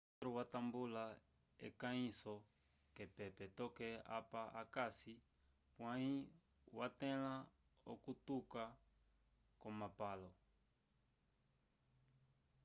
potro watambula ekahiso ke pepe toke apa akasi pwayi watela okutyuka ko mapalo